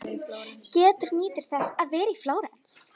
Gerður nýtur þess að vera í Flórens.